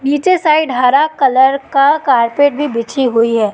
नीचे साइड हरा कलर का कारपेट भी बिछी हुई है।